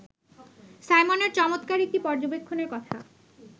সাইমনের চমত্কার একটি পর্যবেক্ষণের কথা